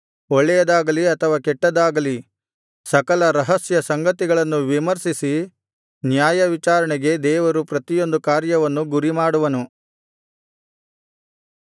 ಒಳ್ಳೆಯದಾಗಲೀ ಅಥವಾ ಕೆಟ್ಟದ್ದಾಗಲೀ ಸಕಲ ರಹಸ್ಯ ಸಂಗತಿಗಳನ್ನು ವಿಮರ್ಶಿಸಿ ನ್ಯಾಯವಿಚಾರಣೆಗೆ ದೇವರು ಪ್ರತಿಯೊಂದು ಕಾರ್ಯವನ್ನು ಗುರಿಮಾಡುವನು